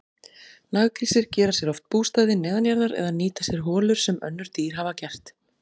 Naggrísir gera sér oft bústaði neðanjarðar eða nýta sér holur sem önnur dýr hafa gert.